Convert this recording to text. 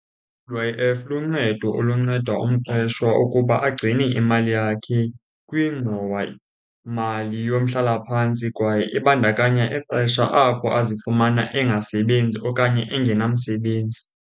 I-U_I_F luncedo olunceda umqeshwa ukuba agcine imali yakhe kwingxowamali yomhlalaphantsi, kwaye ibandakanya ixesha apho azifumana engasebenzi okanye engenamsebenzi.